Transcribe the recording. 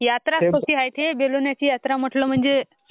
बाप्पा लय मज्जा येते.